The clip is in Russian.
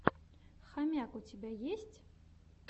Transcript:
хомяк у тебя есть